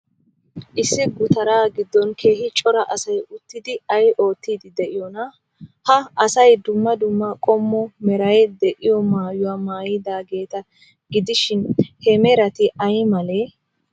Issi gutaraa giddon keehi cora asay uttidi ay oottiiddi de'iyoonaa? Ha asay dumma dumma qommo meray de'iyoo maayuwaa maayidaageeta gidshin, he merati ay malee?